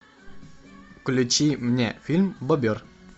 включи мне фильм бобер